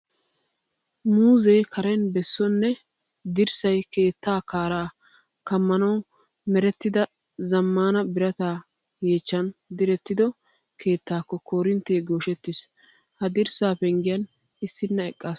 Muuzzee karen besso nne dirssay keettaa kaaraa kammanawu merettida zammaana birata yeechchan direttido keettaakko koorinttee gooshettiis. Ha dirssaa penggiyan issinna eqqaasu.